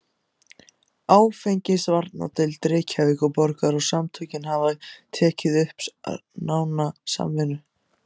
Áfengisvarnardeild Reykjavíkurborgar og samtökin hafa tekið upp nána samvinnu.